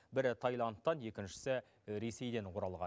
бірі тайландтан екіншісі ресейден оралған